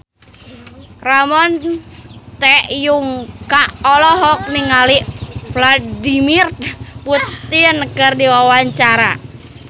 Ramon T. Yungka olohok ningali Vladimir Putin keur diwawancara